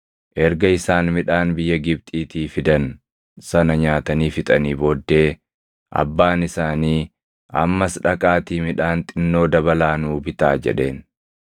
Erga isaan midhaan biyya Gibxiitii fidan sana nyaatanii fixanii booddee abbaan isaanii, “Ammas dhaqaatii midhaan xinnoo dabalaa nuu bitaa” jedheen.